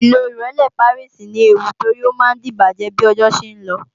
Ìlo Ìrẹ́lé Pàríìsì ní ewu torí á máa díbàjẹ́ bí ọjọ́ ṣe ń lọ